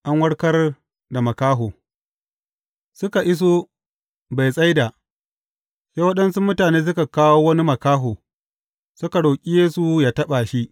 An warkar da makaho Suka iso Betsaida, sai waɗansu mutane suka kawo wani makaho, suka roƙi Yesu yă taɓa shi.